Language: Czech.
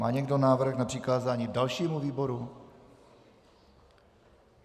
Má někdo návrh na přikázání dalšímu výboru?